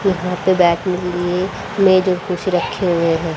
यहां पे बैठने के लिए मेज और कुर्सी रखे हुए हैं।